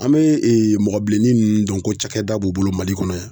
An bee mɔgɔ bilenni nunnu dɔn ko cakɛda b'u bolo Mali kɔnɔ yan.